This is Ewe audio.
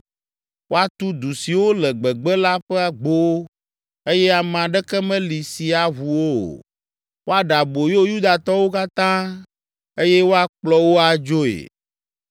Woatu du siwo le gbegbe la ƒe agbowo eye ame aɖeke meli si aʋu wo o. Woaɖe aboyo Yudatɔwo katã eye woakplɔ wo adzoe.